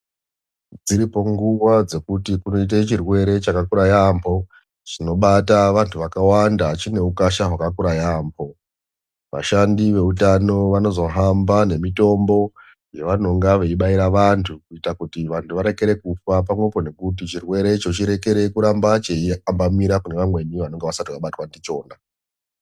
Dziripo nguwa dzekuti kunoite chirwere chakakura yaampho. Chinobata vantu vakawanda chine ukasha yaampho. Vashandi veutano vanozohamba nemitombo yavanonga veibaira vantu kuita kuti vantu varekere kufa pamwepo nekuti chirwere icho chirekere kuramba cheiambamira pane vamweni vanenge vasati vabatwa ndichona.